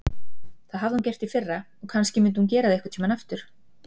Það hafði hún gert í fyrra og kannski myndi hún gera það einhvern tíma aftur.